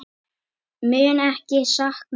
Mun ekki sakna hans.